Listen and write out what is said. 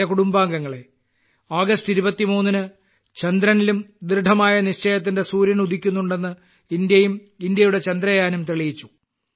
എന്റെ കുടുംബാംഗങ്ങളെ ആഗസ്റ്റ് 23 ന് ചന്ദ്രനിലും ദൃഢമായ നിശ്ചയത്തിന്റെ സൂര്യൻ ഉദിക്കുന്നുണ്ടെന്ന് ഇന്ത്യയും ഇന്ത്യയുടെ ചന്ദ്രയാനും തെളിയിച്ചു